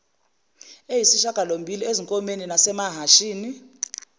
eyisishagalombili ezinkomeni nasemahashini